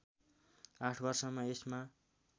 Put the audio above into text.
८ वर्षमा यसमा